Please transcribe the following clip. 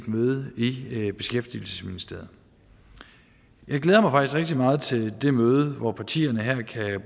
møde i beskæftigelsesministeriet jeg glæder mig faktisk rigtig meget til det møde hvor partierne her